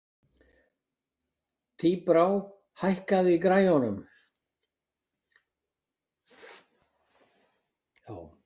Tíbrá, hækkaðu í græjunum.